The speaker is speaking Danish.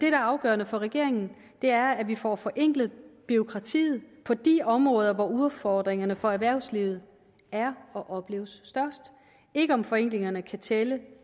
er afgørende for regeringen er at vi får forenklet bureaukratiet på de områder hvor udfordringerne for erhvervslivet er og opleves størst ikke om forenklingerne kan tælle